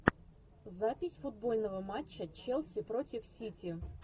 запись футбольного матча челси против сити